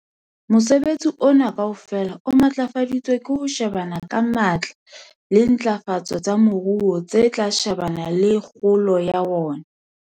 Mosebetsi ona kaofela o matlafaditswe ke ho shebana ka matla le dintlafatso tsa moruo tse tla shebana le kgolo ya ona.